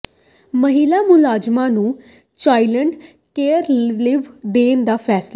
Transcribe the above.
ਮਹਿਲਾ ਮੁਲਾਜ਼ਮਾਂ ਨੂੰ ਚਾਈਲਡ ਕੇਅਰ ਲੀਵ ਦੇਣ ਦਾ ਫੈਸਲਾ